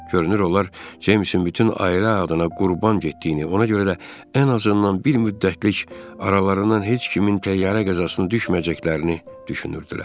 Görünür onlar Ceymsin bütün ailə adına qurban getdiyini, ona görə də ən azından bir müddətlik aralarından heç kimin təyyarə qəzasına düşməyəcəklərini düşünürdülər.